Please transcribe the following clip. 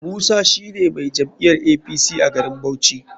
Musa shine mai jam'iyar apc a garin bauchi.